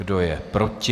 Kdo je proti?